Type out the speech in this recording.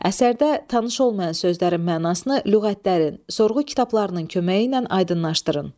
Əsərdə tanış olmayan sözlərin mənasını lüğətlərin, sorğu kitablarının köməyi ilə aydınlaşdırın.